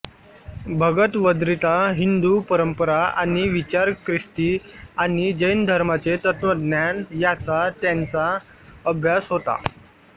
भगवद्गीता हिंदू परंपरा आणि विचार ख्रिस्ती आणि जैन धर्माचे तत्वज्ञान याचा त्यांचा अभ्यास होता